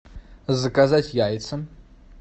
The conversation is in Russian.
заказать яйца